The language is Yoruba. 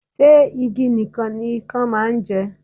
Ṣé igi nìkan ni Ikan máa ń jẹ?